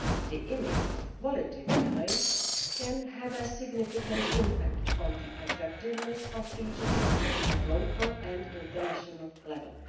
The underlying image of quality can have a significant impact on the attractiveness of regions at local and international level.